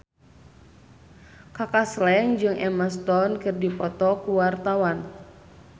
Kaka Slank jeung Emma Stone keur dipoto ku wartawan